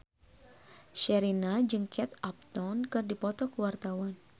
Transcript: Sherina jeung Kate Upton keur dipoto ku wartawan